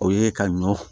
O ye ka ɲɔ